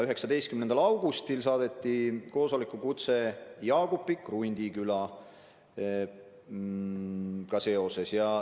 19. augustil saadeti koosolekukutse Jaagupi ja Krundikülaga seoses.